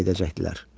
Məni papa edəcəkdilər.